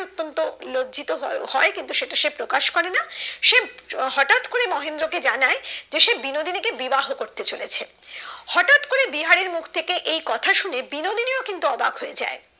অতন্ত লজ্জিত হয় কিন্তু সে প্রকাশ করে না সে হটাৎ করে মহেন্দ্র কে জানায় যে সে বিনোদিনী কে বিবাহ করতে চলেছে হটাৎ করে বিহারীর মুখ থেকে এই কথা শুনে বিনোদিনী ও কিন্তু অবাক হয়ে যায়